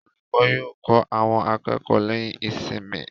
Olùkọ́ yóò kọ́ àwọn akẹ́kọ̀ọ́ lẹ́yìn ìsinmi.